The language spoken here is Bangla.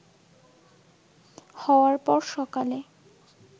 হওয়ার পর সকালে